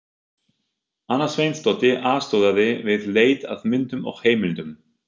Anna Sveinsdóttir aðstoðaði við leit að myndum og heimildum.